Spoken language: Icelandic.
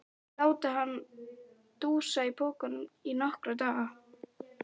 Láta hann dúsa í pokanum í nokkra daga!